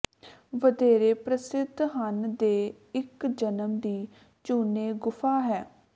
ਵਧੇਰੇ ਪ੍ਰਸਿੱਧ ਹਨ ਦੇ ਇਕ ਜਨਮ ਦੀ ਚੂਨੇ ਗੁਫਾ ਹੈ